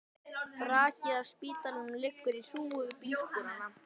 Brakið af spítalanum liggur í hrúgu við bílskúrana.